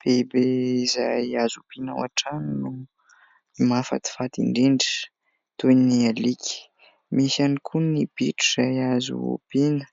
Biby izay azo ompiana ao an-trano no mahafatifaty indrindra toy ny alika. Misy ihany koa ny bitro izay azo ompiana,